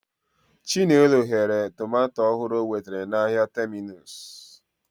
Chinelo ghere tomato ọhụrụ o nwetara n'ahịa Terminus.